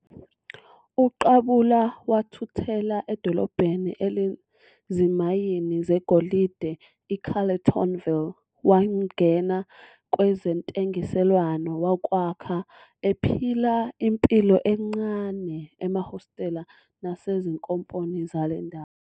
UQabula wathuthela edolobhaneni elinezimayini zegolide iCarletonville wangena kwezentengiselwano yokwakha, ephila impilo encane emahostela nasezinkomponi zale ndawo.